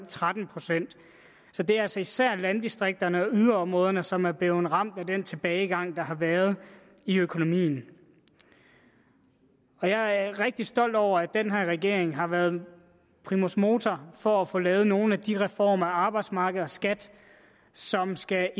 tretten procent så det er altså især landdistrikterne og yderområderne som er blevet ramt af den tilbagegang der har været i økonomien jeg er rigtig stolt over at den her regering har været primus motor for at få lavet nogle af de reformer af arbejdsmarked og skat som skal